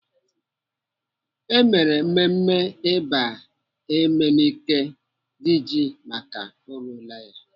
Emere mmemme ịba Emenike Diji maka o ruola ya.